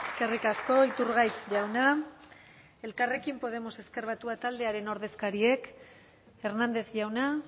eskerrik asko iturgaiz jauna elkarrekin podemos ezker batua taldearen ordezkariek hernández jauna